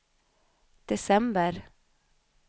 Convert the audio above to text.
december